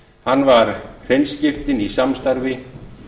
hann var hreinskiptinn í samstarfi